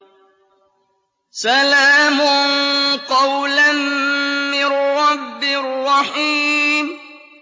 سَلَامٌ قَوْلًا مِّن رَّبٍّ رَّحِيمٍ